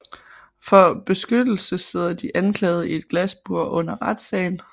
For beskyttelse sidder de anklagede i et glasbur under retssagen